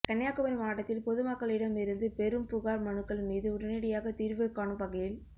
கன்னியாகுமரி மாவட்டத்தில் பொதுமக்களிடம் இருந்து பெறும் புகாா் மனுக்கள் மீது உடனடியாக தீா்வு காணும் வகையில்